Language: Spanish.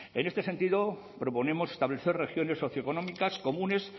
en este sentido proponemos establecer regiones socioeconómicas comunes